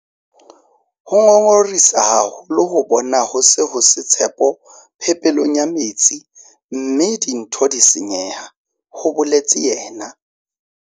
"Ho ngongorehisa haholo ho bona ho se ho se tshepo phepelong ya metsi mme dintho di senyeha " ho boletse yena.